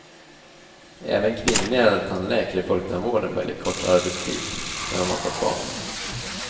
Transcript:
Även kvinnliga tandläkare i folktandvården väljer kortare arbetstid, när de har fått barn.